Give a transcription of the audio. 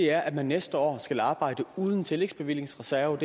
er at man næste år skal arbejde uden en tillægsbevillingsreserve